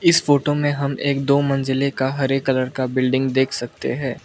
इस फोटो में हम एक दो मंजिले का हरे कलर का बिल्डिंग देख सकते हैं।